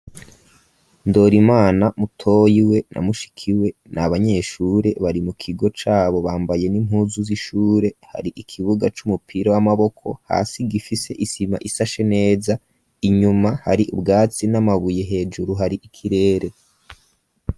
Ndora imana mutoyi we namushiki we n abanyeshure bari mu kigo cabo bambaye n'impuzu z'ishure hari ikibuga c'umupira w'amaboko hasi gifise isima isashe neza inyuma hari ubwatsi n'amabuye hejuru hari ikirere.